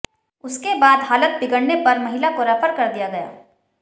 उसके बाद हालत बिगड़ने पर महिला को रेफर कर दिया गया